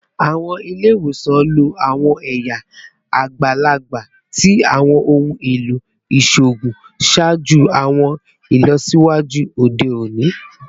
Awọn ile-iwosan lo awọn ẹya agbalagba ti awọn ohun elo iṣoogun ṣaaju awọn ilọsiwaju ode oni